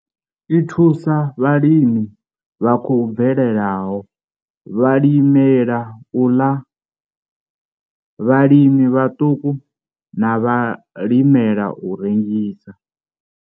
I thusa vhalimi vha khou bvelelaho, vhalimela u ḽa, vhalimi vhaṱuku na vhalimela u rengisa.